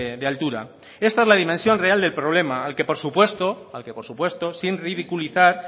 de altura esta es la dimensión real del problema al que por supuesto al que por supuesto sin ridiculizar